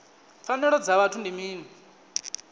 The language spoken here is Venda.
pfanelo dza vhuthu ndi mini